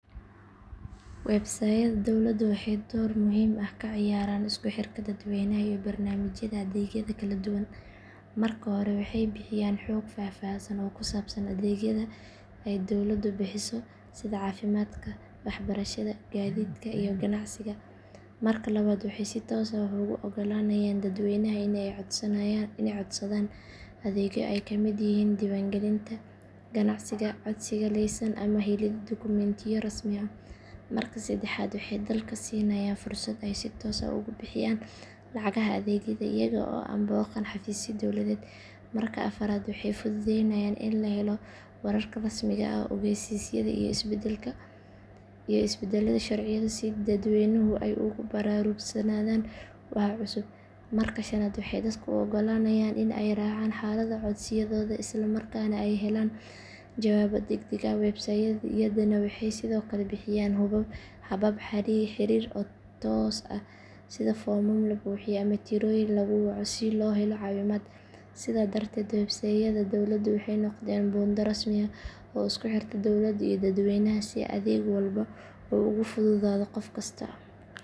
Weebsayd-yada dowladdu waxay door muhiim ah ka ciyaaraan isku xirka dadweynaha iyo barnaamijyada adeegyada kala duwan. Marka hore waxay bixiyaan xog faahfaahsan oo ku saabsan adeegyada ay dowladdu bixiso sida caafimaadka, waxbarashada, gaadiidka iyo ganacsiga. Marka labaad waxay si toos ah ugu oggolaanayaan dadweynaha in ay codsadaan adeegyo ay ka mid yihiin diiwaangelinta ganacsi, codsiga laysan ama helidda dukumentiyo rasmi ah. Marka saddexaad waxay dadka siinayaan fursad ay si toos ah uga bixiyaan lacagaha adeegyada iyaga oo aan booqan xafiisyo dowladeed. Marka afraad waxay fududeeyaan in la helo wararka rasmiga ah, ogeysiisyada iyo isbeddelada sharciyada si dadweynuhu ay ugu baraarugsanaadaan waxa cusub. Marka shanaad waxay dadka u oggolaanayaan in ay raacaan xaaladda codsiyadooda isla markaana ay helaan jawaabo deg deg ah. Weebsayd-yadani waxay sidoo kale bixiyaan habab xiriir oo toos ah sida foomam la buuxiyo ama tirooyin lagu waco si loo helo caawimaad. Sidaas darteed weebsayd-yada dowladdu waxay noqdeen buundo rasmi ah oo isku xirta dowladda iyo dadweynaha si adeeg walba uu ugu fududaado qof kasta.